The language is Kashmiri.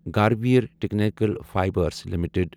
Garware technical fibres limited